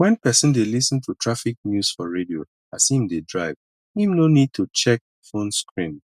when person dey lis ten to traffic news for radio as im dey drive im no need to check phone screen